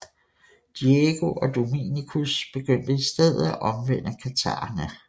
Diego og Dominicus begyndte i stedet at omvende katharerne